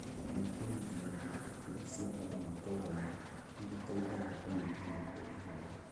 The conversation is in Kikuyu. kana kũnyitanĩra na ikundi cia andũ matũũrainĩ, nĩ gũteithagia kũnyihanyihia ihooru.